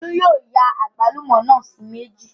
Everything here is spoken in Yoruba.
Olú yóò ya àgbálùmọ́ náà sí méjì